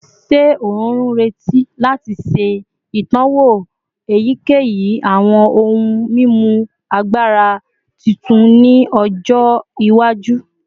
Ṣe o nreti lati ṣe itọwo eyikeyi awọn ohun mimu agbara titun ni ọjọ iwaju?